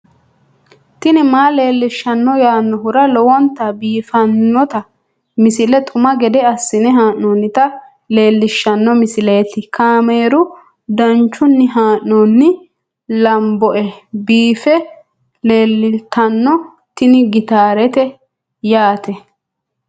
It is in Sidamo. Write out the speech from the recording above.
tini maa leelishshanno yaannohura lowonta biiffanota misile xuma gede assine haa'noonnita leellishshanno misileeti kaameru danchunni haa'noonni lamboe biiffe leeeltanno tini gitaarete yaate